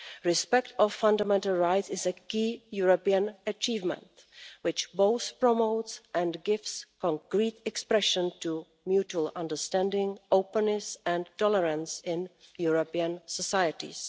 Respect for fundamental rights is a key European achievement which both promotes and gives concrete expression to mutual understanding, openness and tolerance in European societies.